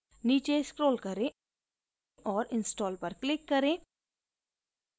नीचे scroll करें और install पर click करें